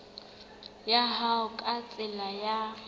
ya hao ka tsela ya